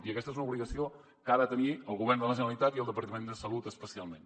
i aquesta és una obligació que ha de tenir el govern de la generalitat i el departament de salut especialment